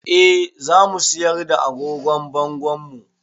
Eh za mu siyar da agogon bangonmu